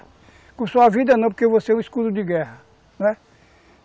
Com a sua vida não, porque você é o escudo de guerra, não é?